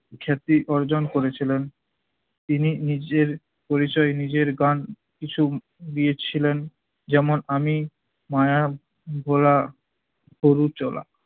খ্যাতি অর্জন করেছিলেন। তিনি নিজের পরিছয় নিজের গান কিছু দিয়েছিলেন যেমন- আমি মায়া ভোলা গরু চোলা